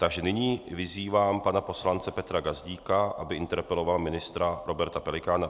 Takže nyní vyzývám pana poslance Petra Gazdíka, aby interpeloval ministra Roberta Pelikána.